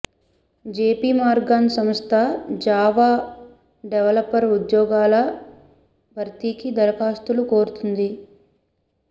JP Morgan సంస్థ Java developer ఉద్యోగాల భర్తీకి దరఖాస్తులు కోరుతోంది